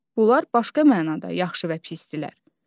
Bunlar başqa mənada yaxşı və pislərdirlər.